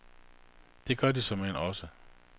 Det gør de såmen også.